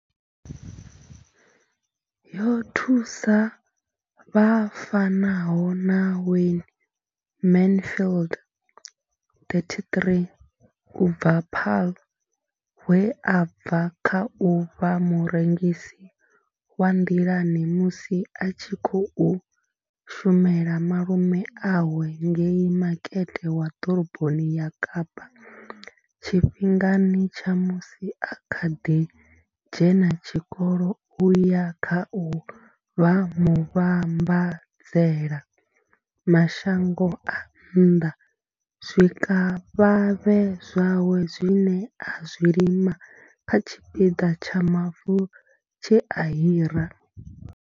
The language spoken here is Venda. Yo thusa vha fanaho na Wayne Mansfield, 33, u bva Paarl, we a bva kha u vha murengisi wa nḓilani musi a tshi khou shumela malume awe ngei makete wa ḓoroboni ya Kapa tshifhingani tsha musi a kha ḓi dzhena tshikolo u ya kha u vha muvhambadzela mashango a nnḓa zwikavhavhe zwawe zwine a zwi lima kha tshipiḓa tsha mavu tshe a hira.